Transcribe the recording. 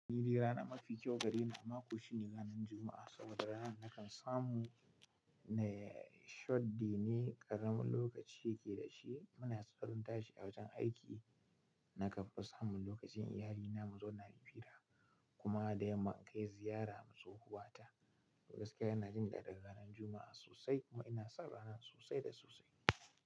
Ni ranar mafi ƙyu gare ni a mako shine ranar Juma'a saboda ranar nakan samu ne short-day ne ƙaramin lokaci ke da shi. Muna tsoron tashi a wajen aiki na kanfi samun lokacin iyalina mu zauna muyi fira kuma da yamma in kai ziyara ma tsohuwa ta. Gaskiya ina jin daɗin ranar Juma'a sosai kuma ina son ranar sosai da sosai.